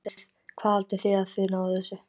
Hvað haldið þið að þið náið þessu?